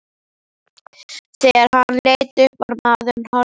Þegar hann leit upp var maðurinn horfinn.